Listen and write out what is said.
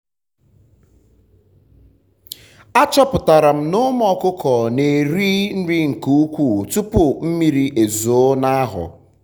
a chọputara m na ụmụ ọkụkọ na eri nke ukwu tụpụ mmiri ezoo na ahọ